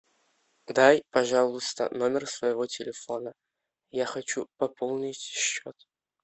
дай пожалуйста номер своего телефона я хочу пополнить счет